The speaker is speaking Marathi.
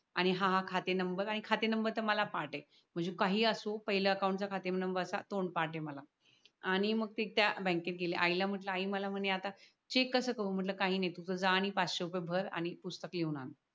आणि हा हा खाते नंबर आणि खाते नंबर मला पाठ आहे म्हणजे काही असो पहिल्या अकाउंटला खाते नंबर असा तोंडपाठ आहे मला आणि मग ते त्या बॅंकेत गेले आईला म्हटल आई मला म्हणे आता चेक कस करू म्हटल काही नाही तू तिथ जा आणि पाचशे रुपये भर आणि पुस्तक लिहून आन.